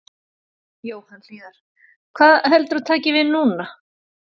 Jóhann Hlíðar: Hvað heldurðu að taki við núna?